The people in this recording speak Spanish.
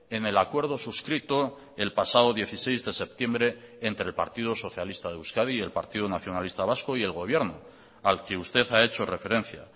en el acuerdo suscrito el pasado dieciséis de septiembre entre el partido socialista de euskadi y el partido nacionalista vasco y el gobierno al que usted ha hecho referencia